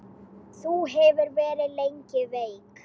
Þú hefur verið lengi veik.